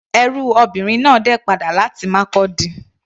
Ẹrú obìnrin náà dé padà láti Markurdi.